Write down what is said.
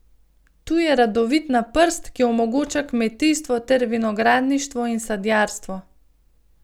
Tu je rodovitna prst, ki omogoča kmetijstvo ter vinogradništvo in sadjarstvo.